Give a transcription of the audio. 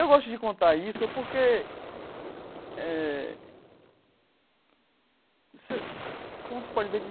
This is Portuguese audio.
Eu gosto de contar isso porque eh... Você como você pode ver que...